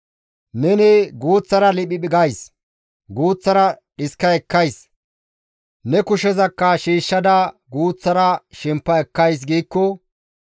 Neni, «Guuththara liphiphi gays; guuththara dhiska ekkays; ne kushezakka shiishshada guuththara shempa ekkays» giikko,